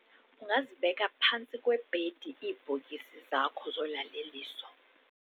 ungazibeka phantsi kwebhedi iibhokisi zakho zolaleliso